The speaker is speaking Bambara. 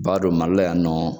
B'a dɔn mali la yan ni nɔ